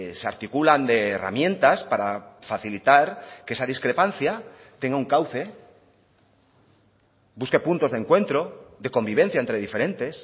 se articulan de herramientas para facilitar que esa discrepancia tenga un cauce busque puntos de encuentro de convivencia entre diferentes